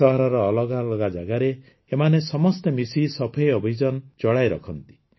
ସହରର ଅଲଗା ଅଲଗା ଜାଗାରେ ଏମାନେ ସମସ୍ତେ ମିଶି ସଫେଇ ଅଭିଯାନ ଚଳେଇ ରଖନ୍ତି